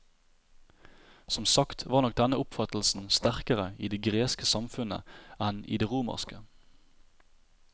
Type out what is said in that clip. Som sagt var nok denne oppfattelsen sterkere i det greske samfunnet enn i det romerske.